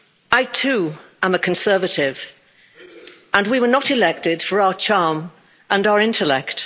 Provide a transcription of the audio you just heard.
I too am a Conservative, and we were not elected for our charm and our intellect.